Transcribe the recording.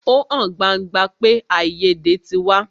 Ó hàn gbangba pé àìyédè tí wáyé.